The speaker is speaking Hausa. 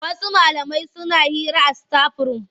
Wasu malamai suna hira a sitaf-rum.